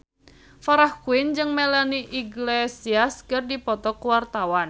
Farah Quinn jeung Melanie Iglesias keur dipoto ku wartawan